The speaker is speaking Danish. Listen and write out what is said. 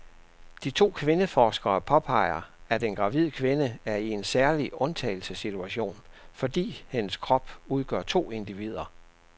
De to kvindeforskere påpeger, at en gravid kvinde er i en særlig undtagelsessituation, fordi hendes krop udgør to individer.